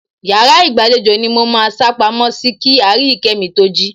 Yàrá ìgbàlejò ni mo máa sápamọ́ sí kí Aríyìíkẹ́ mi to jí.